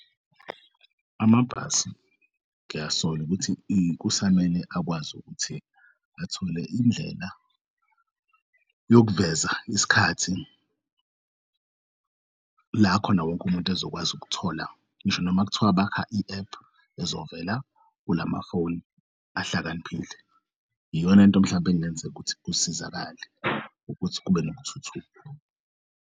Amabhasi ngiyasola ukuthi kusamele akwazi ukuthi athole indlela yokuveza isikhathi lakhona wonke umuntu ezokwazi ukuthola ngisho noma kuthiwa bakha i-ephu ezovela kulamafoni ahlakaniphile, iyonanto mhlawumpe engenzeka ukuthi kusizakale ukuthi kube nokuthuthuka.